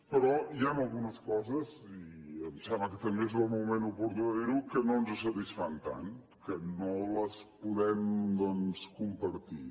però hi han algunes coses i em sembla que també és el moment oportú de dir ho que no ens satisfan tant que no les podem doncs compartir